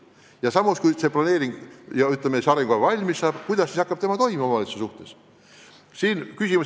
Ja samas, kui maakonna arengukava valmis saab, siis kuidas see hakkab toimima omavalitsuse suhtes?